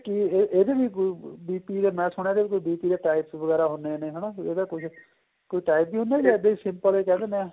ਇਹ ਇਹ ਇਹਦੇ ਨੀ ਕੋਈ BP ਦੇ ਮੈਂ ਸੁਣਿਆ ਇਹਦੇ BP ਦੇ types ਵਗੈਰਾ ਹੁੰਦੇ ਨੇ ਹਨਾ ਜਾਂ ਕੋਈ types ਵੀ ਹੁੰਦੇ ਨੇ ਇੱਦਾਂ simple ਏ ਕਹਿ ਦਿੰਨੇ ਆਂ